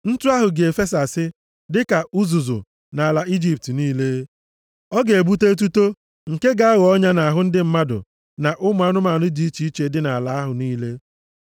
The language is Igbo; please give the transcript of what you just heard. Ntụ ahụ ga-efesasị, dịka uzuzu nʼala Ijipt niile. Ọ ga-ebute etuto nke ga-aghọ ọnya nʼahụ ndị mmadụ na ụmụ anụmanụ dị iche iche dị nʼala ahụ niile.”